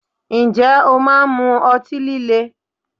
Ǹjẹ́ o máa ń mú ọtí líle?